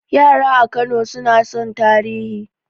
Yara a Kano suna son tarihi